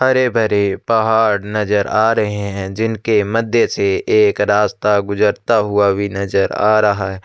हरे-भरे पहाड़ नजर आ रहै हैं जिनके मध्य से एक रास्ता गुजरता हुआ भी नजर आ रहा--